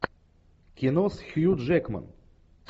кино с хью джекман